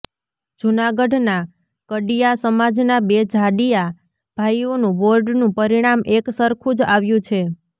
જૂનાગઢનાં કડિયા સમાજનાં બે જાડીયા ભાઈઓનું બોર્ડનું પરિણામ એક સરખું જ આવ્યું છે